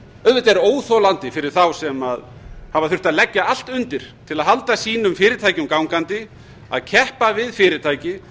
auðvitað er óþolandi fyrir þá sem hafa þurft að leggja allt undir til að halda sínum fyrirtækjum gangandi að keppa við fyrirtæki